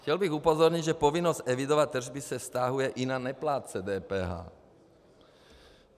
Chtěl bych upozornit, že povinnost evidovat tržby se vztahuje i na neplátce DPH.